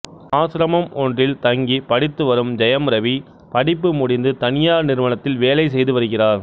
ஆசிரமம் ஒன்றில் தங்கி படித்து வரும் ஜெயம் ரவி படிப்பு முடிந்து தனியார் நிறுவனத்தில் வேலை செய்து வருகிறார்